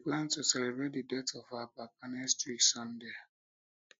we dey plan to celebrate the death of our papa next week sunday